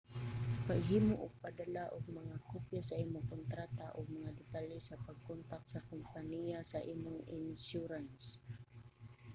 paghimo ug pagdala og mga kopya sa imong kontrata ug mga detalye sa pagkontak sa kompaniya sa imong insyurans